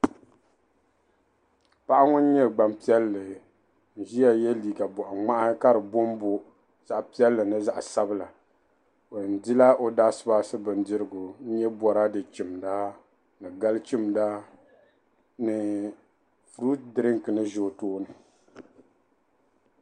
Paɣa ŋun nyɛ gbampiɛlli n-ʒia ye liika bɔɣiŋmahi ka di boobooi zaɣ' piɛlli ni zaɣ' sabila. O yɛn dila o daashibaashi bindirigu n-nyɛ bɔraade chimda ni gal' chimda ni furuti dirinki ni za o tooni.